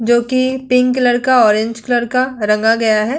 जो कि pink colour का ऑरेंज कलर का रंगा गया है।